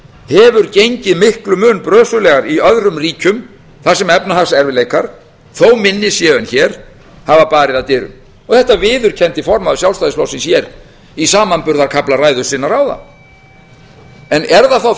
hefur gengið miklum mun brösulegar í öðrum ríkjum þar sem efnahagserfiðleikar þó minni séu en hér hafa barið að dyrum þetta viðurkenndi formaður sjálfstæðisflokksins hér í samanburðarkafla ræðu sinnar áðan er það þá